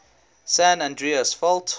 san andreas fault